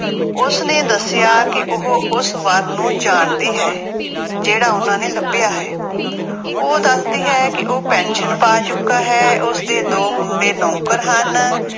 ਉਸਨੇ ਦੱਸਿਆ ਕਿ ਉਹ ਉਸ ਵਰ ਨੂੰ ਜਾਣਦੀ ਹੈ। ਜਿਹੜਾ ਉਹਨਾ ਨੇ ਲੱਭਿਆ ਹੈ। ਉਹ ਦੱਸਦੀ ਹੈ ਕਿ ਉਹ ਪੈਨਸ਼ਨ ਪਾ ਚੁੱਕਾ ਹੈ। ਉਸਦੇ ਦੋ ਮੁੰਡੇ ਨੌਕਰ ਹਨ